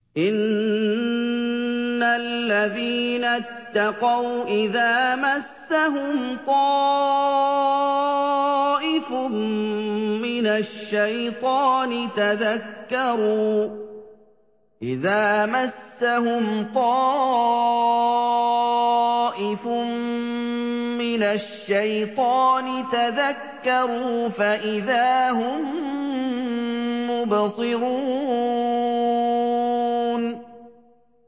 إِنَّ الَّذِينَ اتَّقَوْا إِذَا مَسَّهُمْ طَائِفٌ مِّنَ الشَّيْطَانِ تَذَكَّرُوا فَإِذَا هُم مُّبْصِرُونَ